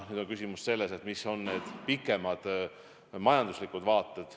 Nüüd on küsimus selles, mis on need pikemad majanduslikud vaated.